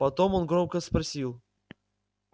потом он громко спросил